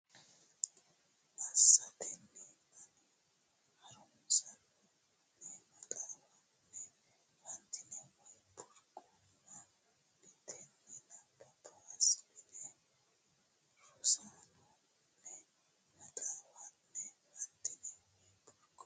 assatenni ani ha runsanna ne maxaafa ne fantine Way Burquuqama mitteenni nabbabbe assatenni ani ha runsanna ne maxaafa ne fantine Way Burquuqama.